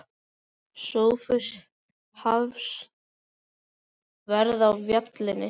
Sófus Hafsteinsson: Verð á vélinni?